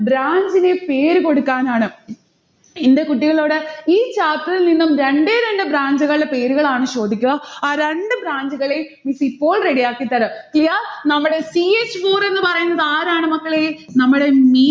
branch ന് പേരുകൊടുക്കാനാണ്. എന്റെ കുട്ടികളോട് chapter ൽ നിന്നും രണ്ടേ രണ്ട് branch കളുടെ പേരുകളാണ് ചോദിക്ക. ആ രണ്ട് branch കളെയും miss ഇപ്പോൾ ready ആക്കിത്തരാം. clear? നമ്മടെ c h four എന്ന് പറയുന്നതാരാണ് മക്കളെ? നമ്മടെ